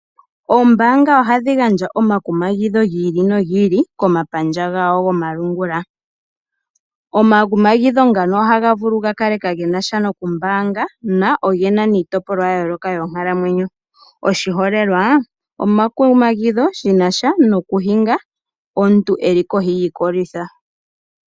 Oombaanga ohadhi gandja omakumagidho gi ili nogi ili komapandja gawo gomalungula. Omakumagidho ngano ohaga vulu gakale kaage na sha nokumbaanga na oge na niitopolwa ya yooloka yonkalamwenyo oshiholelwa, omakumagidho shi na sha nokuhinga omuntu e li kohi yiikolitha.